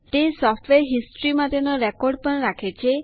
તે software history માટેનો record પણ રાખે છે